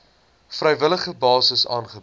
vrywillige basis aangebied